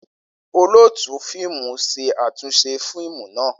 Olootu fiimu ṣe atunṣe fiimu naa.